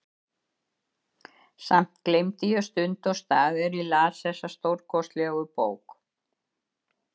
Samt gleymdi ég stund og stað er ég las þessa stórkostlegu bók.